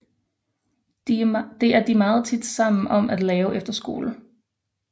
Det er de meget tit sammen om at lave efter skole